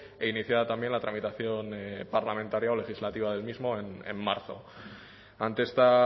e iniciada también la tramitación parlamentaria o legislativa del mismo en marzo ante esta